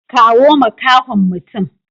Kawo makahon mutum.